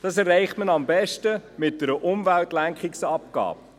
Das erreicht man am besten mit einer Umweltlenkungsabgabe.